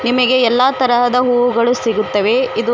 ನಿಮಗೆ ಎಲ್ಲಾ ತರದ ಹೂಗಳು ಸಿಗುತ್ತವೆ ಇದು--